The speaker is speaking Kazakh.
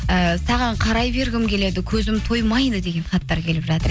ііі саған қарай бергім келеді көзім тоймайды деген хаттар келіп жатыр